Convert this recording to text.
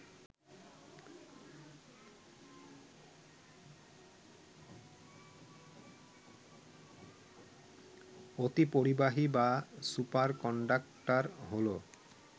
অতিপরিবাহী বা সুপারকন্ডাক্টার হল